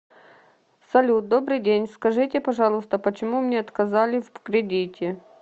салют добрый день скажите пожалуйста почему мне отказали в кредите